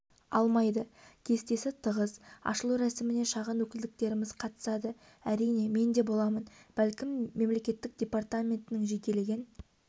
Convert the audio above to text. алмайды кестесі тығыз ашылу рәсіміне шағын өкілдіктеріміз қатысады әрине мен де боламын бәлкім мемдепартаментінің жекелеген